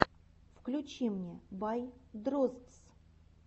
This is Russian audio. включи мне бай дроздс